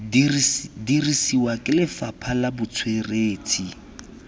dirisiwa ke lefapha la botsweretshi